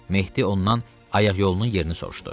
Mehdi ondan ayaqyolunun yerini soruştu.